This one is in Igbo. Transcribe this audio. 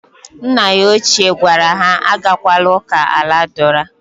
Nna ya ochie gwara ha agakwala uka aladura.